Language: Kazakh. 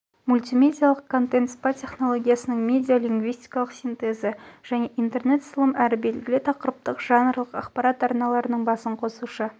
мультимедиалық контен спа тенологиясының медиалингвистикалық синтезі және интерне сылым әрі белгілі тақырыптық жанрлық ақпарат арналарының басын қосушы